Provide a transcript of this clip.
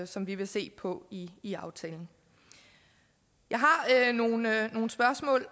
som vi vil se på i i aftalen jeg har nogle spørgsmål